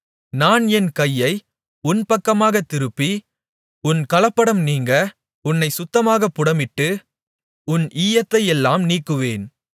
நான் என் கையை உன் பக்கமாகத் திருப்பி உன் கலப்படம் நீங்க உன்னைச் சுத்தமாகப் புடமிட்டு உன் ஈயத்தையெல்லாம் நீக்குவேன்